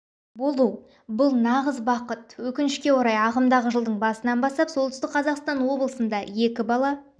болу бұл нағыз бақыт өкіншке орай ағымдағы жылдың басынан бастап солтүстік қазақстан облысында екі бала